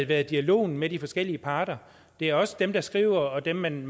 været dialogen med de forskellige parter det er også dem der skriver og dem man